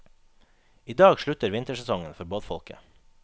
I dag slutter vintersesongen for båtfolket.